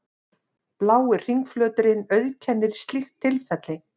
Blái hringflöturinn auðkennir slíkt tilfelli.